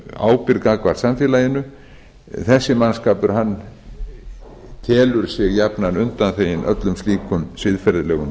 ábyrgð gagnvart samfélaginu þessi mannskapur felur sig jafnan undan öllum slíkum siðferðilegum